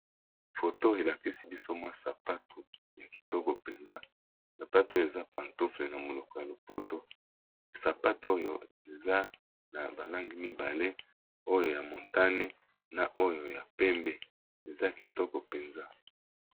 Foto oyo elakisi biso mwa sapatu ya kitoko mpenza sapatu oyo eza pantoufle na monoko ya lopoto sapatu oyo eza na ba langi mibale oyo ya montane na oyo ya pembe eza kitoko mpenza.